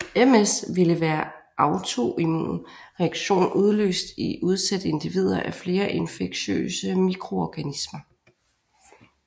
MS ville være en autoimmun reaktion udløst i udsatte individer af flere infektiøse mikroorganismer